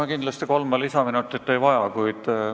Ma kindlasti kolme lisaminutit ei vaja.